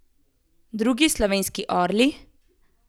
Drugi slovenski orli?